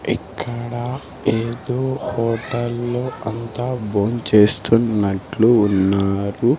ఇక్కడ ఏదో హోటల్ లో అంతా బోన్ చేస్తున్నట్లు ఉన్నారు.